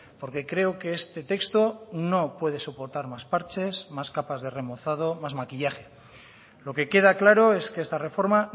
porque creo que este texto no puede soportar más parches más capas de remozado más maquillaje lo que queda claro es que esta reforma